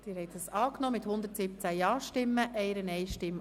Sie haben den Kredit angenommen mit 117 Ja,